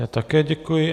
Já také děkuji.